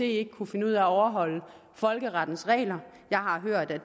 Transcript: ikke kunne finde ud af at overholde folkerettens regler jeg har hørt at